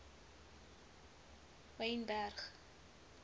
wynberg